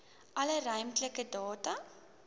alle ruimtelike data